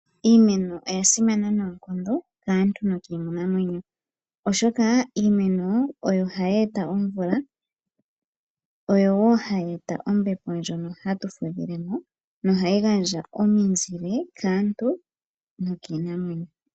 Iimeno oya simana noonkondo kaantu nokiinamwenyo, oshoka iimeno oyo hayi eta omvula, oyo wo hayi eta ombepo ndjono hatu fudhile mo nohayi gandja omizile kaantu nokiinamwenyo.